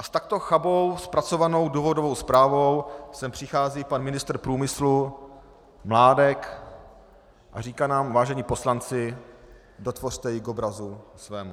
A s takto chabě zpracovanou důvodovou zprávou sem přichází pan ministr průmyslu Mládek a říká nám: vážení poslanci, dotvořte ji k obrazu svému.